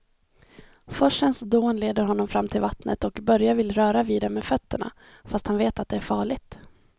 Forsens dån leder honom fram till vattnet och Börje vill röra vid det med fötterna, fast han vet att det är farligt.